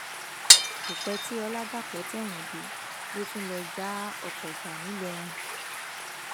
kò pẹ tí ọlàdàpọ tẹwọn dé ló tún lọọ já ọkọ gbà ńìlọrin